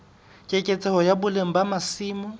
keketseho ya boleng ba masimo